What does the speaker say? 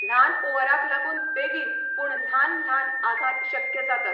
ल्हान ओअराक लागून बेगीन पूण ल्हान ल्हान आघात शक्य जातात.